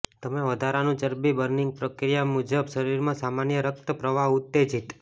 તમે વધારાનું ચરબી બર્નિંગ પ્રક્રિયા મજબૂત શરીરમાં સામાન્ય રક્ત પ્રવાહ ઉત્તેજીત